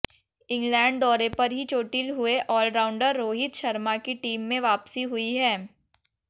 England दौरे पर ही चोटिल हुए आलराउंडर रोहित शर्मा की टीम में वापसी हुई है